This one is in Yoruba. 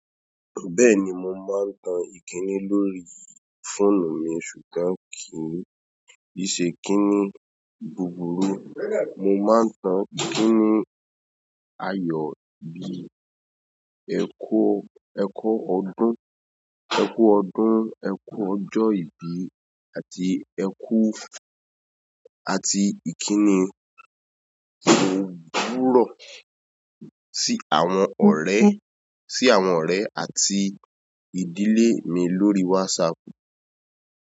Bẹ́ẹ̀ni mo máa ń tan ìkíni lórí fóònù mi ṣùgbọ́n kì n ṣe ikìnní búburú. Mo máa ń tan ikìnní ayọ̀ bí, ẹ kú ọdún, ẹ kú ọjọ́ ìbí àti ẹ kú àti ìkíni bi eku owurọ̀ sí àwọn ọ̀rẹ́ sí àwọn ọ̀rẹ́ àti ìdílé mi lórí WhatsApp.